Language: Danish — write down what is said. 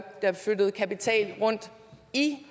flyttet kapital rundt i